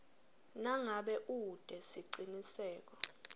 nangabe ute siciniseko